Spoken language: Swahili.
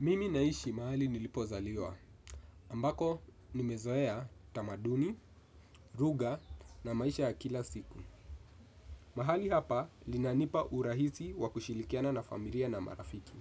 Mimi naishi mahali nilipozaliwa, ambako nimezoea utamaduni, lugha na maisha ya kila siku. Mahali hapa linanipa urahisi wa kushirikiana na familia na marafiki.